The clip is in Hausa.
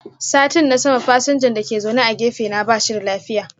Satin na sama fasinjan dake zaune a gefe na bashi da lafiya.